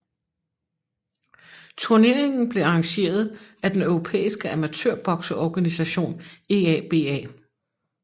Turneringen blev arrangeret af den europæiske amatørbokseorganisation EABA